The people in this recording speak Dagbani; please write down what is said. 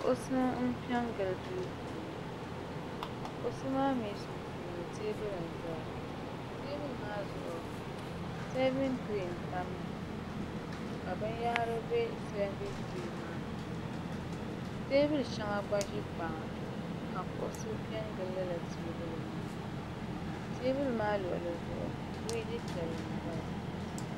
kuɣusi n piɛ n gili duu puuni kuɣusi maa mii sunsuuni teebuli n ʒɛya teebuli maa zuɣu seevin tiree n tamya ka binyahri bɛ seebin tiree maa puuni teebuli shɛŋa gba ʒi kpaŋa ka kuɣusi piɛ n gili lala teebuli maa teebuli maa luɣuli zuɣu firiji piɛlli n ʒɛya